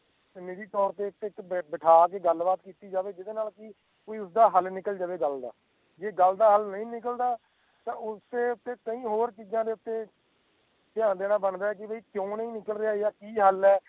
ਨਿੱਜੀ ਤੋਰ ਤੇ ਬੈਠਾ ਕੇ ਗੱਲ ਬਾਤ ਕੀਤੀ ਜਾਵੇ ਜਿੰਦੇ ਨਾਲ ਉਦਾ ਹਾਲ ਨਿੱਕਲ ਜਾਵੇ ਗੱਲ ਦਾ ਜੇ ਗੱਲ ਦਾ ਹਾਲ ਨਹੀਂ ਨਿਕਲਦਾ ਤਾ ਉਸੇ ਉਤੇ ਕਈ ਹੋਰ ਚੀਜਾਂ ਉਤੇ ਧਿਆਨ ਦੇਣਾ ਬਣਦਾ ਜਿਵੇ ਕਿ ਕਿਊ ਨਹੀਂ ਨਿਕਲ ਰਹਿਆ ਯਾ ਕਿ ਗੱਲ ਹੈ